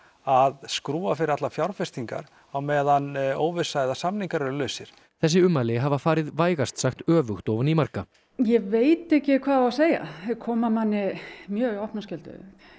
að skrúfa fyrir allar fjárfestingar á meðan óvissa eða samningar eru lausir þessi ummæli hafa farið vægast sagt öfugt ofan í marga ég veit ekki hvað á að segja þau koma manni mjög í opna skjöldu